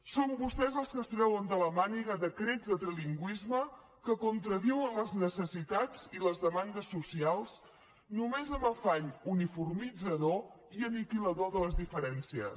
són vostès els que es treuen de la màniga decrets de trilingüisme que contradiuen les necessitats i les demandes socials només amb afany uniformitzador i aniquilador de les diferències